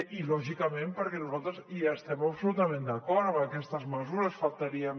i lògicament perquè nosaltres hi estem absolutament d’acord amb aquestes mesures només faltaria